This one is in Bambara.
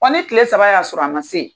ne tile saba y'a sɔrɔ a ma se ye